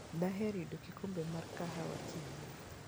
Daher yudo kikombe mar kawaha, kiyie.